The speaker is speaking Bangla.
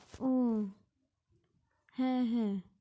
ও হ্যাঁ হ্যাঁ